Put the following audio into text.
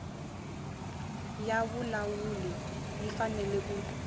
ya vulawuli yi fanele ku